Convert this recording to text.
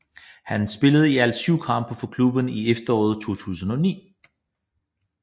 Han spillede i alt 7 kampe for klubben i efteråret 2009